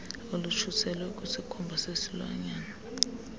olutshiselwa kwisikhumba sesilwanyana